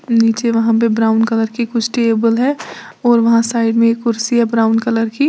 नीचे वहां पे ब्राउन कलर की कुछ टेबल है और वहां साइड में एक कुर्सी है ब्राउन कलर की।